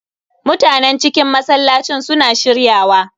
Mutanen cikin masallacin su na shirya wa.